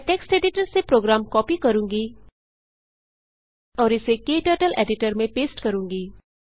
मैं text editor से program copy करूँगी और इसे क्टर्टल्स एडिटर में पेस्ट करूँगी